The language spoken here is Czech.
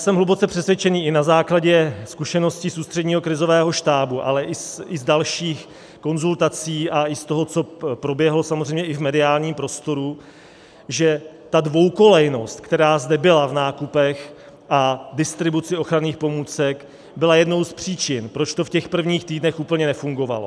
Jsem hluboce přesvědčen i na základě zkušeností z Ústředního krizového štábu, ale i z dalších konzultací a i z toho, co proběhlo samozřejmě i v mediálním prostoru, že ta dvoukolejnost, která zde byla v nákupech a distribuci ochranných pomůcek, byla jednou z příčin, proč to v těch prvních týdnech úplně nefungovalo.